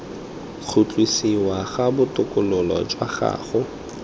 khutlisiwa ga botokololo jwa gago